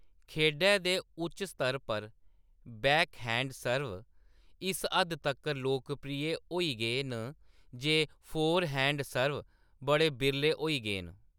खेढै दे उच्च स्तर पर, बैकहैंड सर्व इस हद्द तक्कर लोकप्रिय होई गे न जे फोरहैंड सर्व बड़े बिरले होई गे न।